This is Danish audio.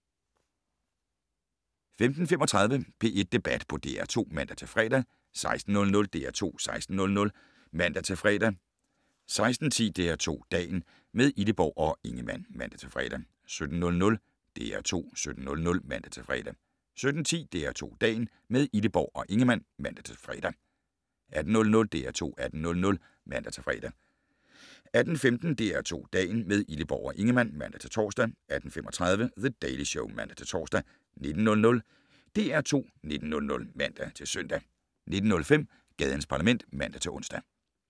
15:35: P1 Debat på DR2 (man-fre) 16:00: DR2 16:00 (man-fre) 16:10: DR2 Dagen - med Illeborg og Ingemann (man-fre) 17:00: DR2 17:00 (man-fre) 17:10: DR2 Dagen - med Illeborg og Ingemann (man-fre) 18:00: DR2 18:00 (man-fre) 18:15: DR2 Dagen - med Illeborg og Ingemann (man-tor) 18:35: The Daily Show (man-tor) 19:00: DR2 19:00 (man-søn) 19:05: Gadens Parlament (man-ons)